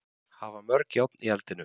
Hafa mörg járn í eldinum.